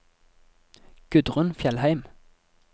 Gudrun Fjellheim